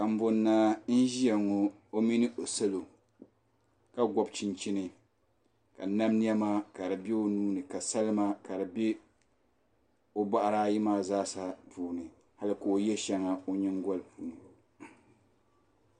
Kumbun Naa n zɛya ŋɔ o mini o salo ka gɔbi chinchini ka nam nɛma kadi bɛ o nuu ni ka salima kadi bɛ o bɔɣu ti ayi maa zaa puuni hali ka o yɛ shɛŋa o yiŋgoli puuni